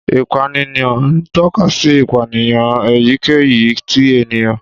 Ìpànìyàn ń tọ́ka sí ìpànìyàn èyíkéyìí ti ènìyàn.